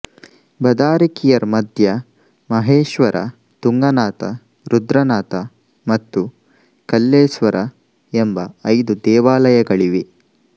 ಬದಾರಿಕಿಯರ್ ಮಧ್ಯ ಮಹೇಶ್ವರ ತುಂಗನಾಥ ರುದ್ರನಾಥ ಮತ್ತು ಕಲ್ಲೆಸ್ವರ ಎಂಬ ಐದು ದೇವಾಲಯಗಳಿವೆ